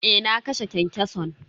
Eh na kashe kyankyason.